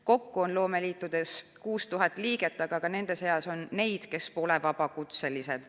Kokku on loomeliitudes 6000 liiget, aga ka nende seas on neid, kes pole vabakutselised.